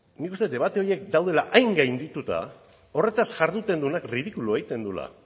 nik uste dut debate horiek daudela hain gaindituta horretaz jarduten duenak ridikulua egiten duela